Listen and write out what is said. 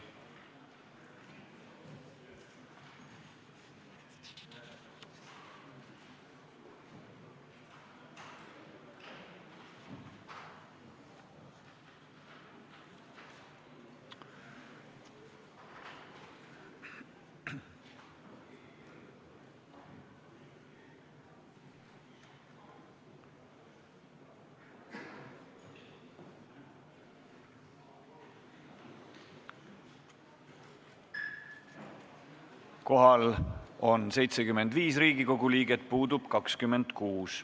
Kohaloleku kontroll Kohal on 75 Riigikogu liiget, puudub 26.